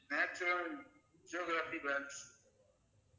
national geographic